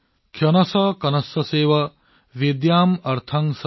क्षणश कणशश्चैव विद्याम् अर्थं च साधयेत्